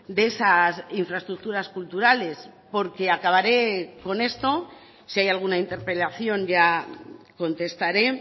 de esas infraestructuras culturales porque acabaré con esto si hay alguna interpelación ya contestaré